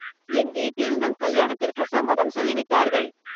என் வீட்டில் நம் கல்யாணத்திற்கு சம்மதம் சொல்லிவிட்டார்கள்